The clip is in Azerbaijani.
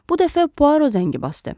Bu dəfə Puaro zəngi basdı.